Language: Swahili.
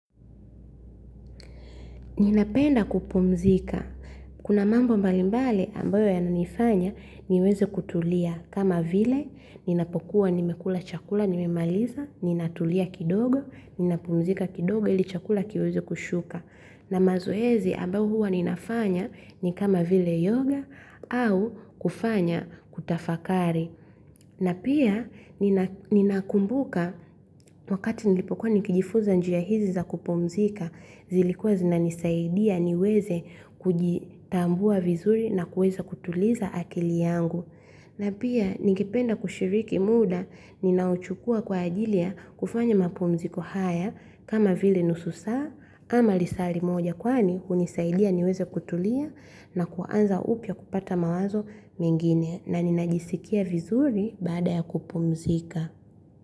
Ninapenda kupumzika. Kuna mambo mbalimbali ambayo yananifanya niweze kutulia. Kama vile ninapokuwa nimekula chakula nimemaliza, ninatulia kidogo, ninapumzika kidogo ili chakula kiweze kushuka. Na mazoezi ambayo huwa ninafanya ni kama vile yoga au kufanya kutafakari. Na pia, ninakumbuka wakati nilipokuwa nikijifuza njia hizi za kupumzika, zilikuwa zinanisaidiya niweze kujitambua vizuri na kuweza kutuliza akili yangu. Na pia, ningependa kushiriki muda, ninaochukuwa kwa ajilia kufanya mapumziko haya kama vile nusu saa ama lisaa limoja. Kwani hunisaidiya niweze kutuliya na kuanza upya kupata mawazo mengine na ninajisikiya vizuri baada ya kupumzika.